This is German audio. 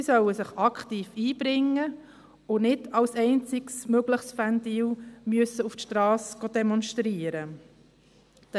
Sie sollen sich aktiv einbringen können und nicht als einzig mögliches Ventil auf die Strasse demonstrieren gehen.